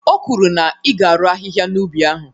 O kwuru na ị ga-arụ ahịhịa na'ubi ahụ.